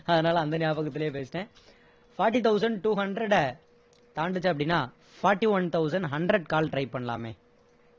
அதனால அந்த ஞாபகத்துலேயே பேசிட்டேன் forty thousand two hundred அ தாண்டுச்சு அப்படின்னா forty-one thousand hundred call try பண்ணலாமே